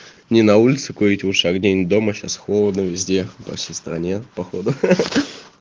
не на улице курить лучше а где-нибудь дома сейчас холодно везде по всей стране походу ха-ха